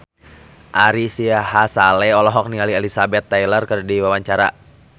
Ari Sihasale olohok ningali Elizabeth Taylor keur diwawancara